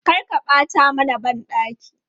Kar ka ɓata mana ban ɗaki!